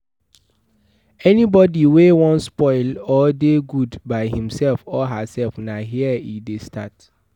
Anybody wey won spoil or de good by himself or herself na here e de start